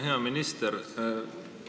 Hea minister!